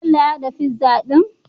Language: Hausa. Bello ya hada pizza din?